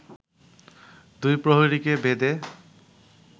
দুই প্রহরীকে বেঁধে